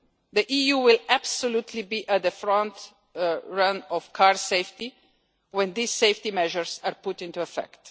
The EU will absolutely be at the forefront of car safety when these safety measures are out into effect.